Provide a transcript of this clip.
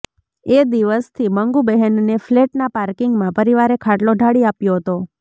એ દિવસથી મંગુબહેનને ફ્લેટના પાર્કિંગમાં પરિવારે ખાટલો ઢાળી આપ્યો હતો